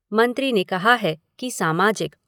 मंत्री ने कहा है कि सामाजिक